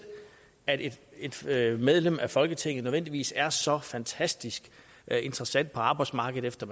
at et medlem af folketinget nødvendigvis er så fantastisk interessant for arbejdsmarkedet efter